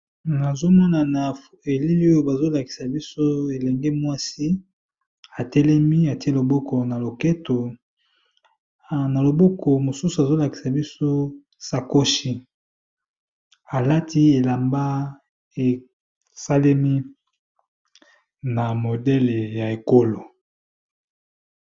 Na zomana esika bazolakisa biso elenge mwasi atelemi atie loboko na loketo na loboko mosusu azolakisa biso sakoshi alati elamba esalemi na modele ya ekolo.